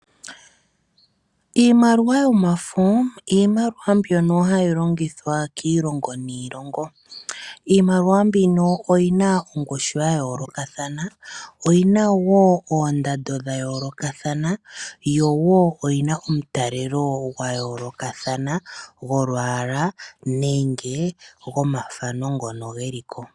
Iimaliwa yomafo Iimaliwa mbyono hayi longithwa kiilongo niilongo, iimaliwa mbino oyi na ongushu ya yoolokathana oyi na wo oondando dha yoolokathana yo wo oyina omutalelo gwa yoolokathana golwaala nenge gomathano ngono ge liko.